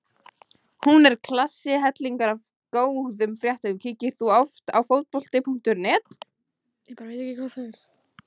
Hún er klassi hellingur af góðum fréttum Kíkir þú oft á Fótbolti.net?